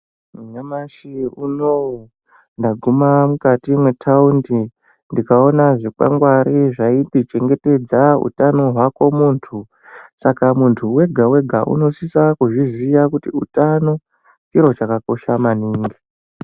Nyamashi unouyu ndaguma mukati mwetaundi ndikaona zvikwangwari zvakanyorwa kuti chengetedza utano hwako muntu saka muntu wega wega unosisa kuzviziya kuti chiro chakakosha maningi.